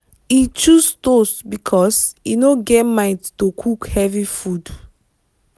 he choose toast because him no get mind to cook heavy food.